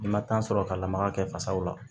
I ma sɔrɔ ka lamaka kɛ fasaw la